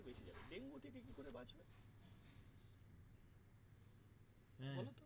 হ্যাঁ